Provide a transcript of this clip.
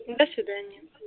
до свидания